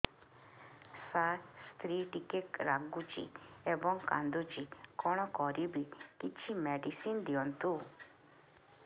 ସାର ସ୍ତ୍ରୀ ଟିକେ ରାଗୁଛି ଏବଂ କାନ୍ଦୁଛି କଣ କରିବି କିଛି ମେଡିସିନ ଦିଅନ୍ତୁ